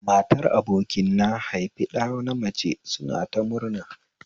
Matar abokin na haifi ɗa namace suna ta murna